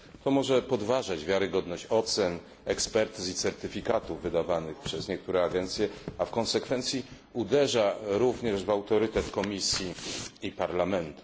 To może podważyć wiarygodność ocen, ekspertyz i certyfikatów wydawanych przez niektóre agencje, a w konsekwencji uderza również w autorytet Komisji i Parlamentu.